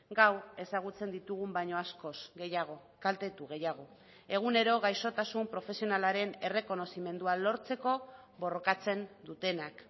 gaur ezagutzen ditugun baino askoz gehiago kaltetu gehiago egunero gaixotasun profesionalaren errekonozimendua lortzeko borrokatzen dutenak